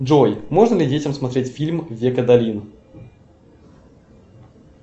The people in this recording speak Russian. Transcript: джой можно ли детям смотреть фильм век адалин